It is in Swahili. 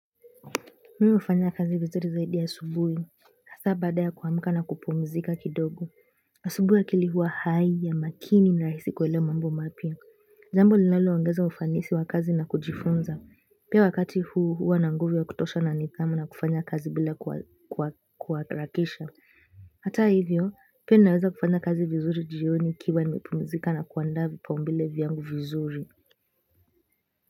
Mimi hufanya kazi vizuri zaidi asubuhi. Hasa baada ya kuamka na kupumzika kidogo. Asubuhi akili huwa hai ya makini na rahisi kuelewa mambo mapya. Jambo linalo ongeza ufanisi wa kazi na kujifunza. Pia wakati huu huwa na nguvu ya kutosha na nidhamu na kufanya kazi bila kuharakisha. Hata hivyo, pia naweza kufanya kazi vizuri jioni nikiwa nimepumzika na kuandaa vipaumbele vyangu vizuri.